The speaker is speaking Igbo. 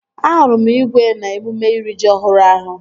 Ahụrụ m igwe n'emume iri ji ọhụrụ ahụ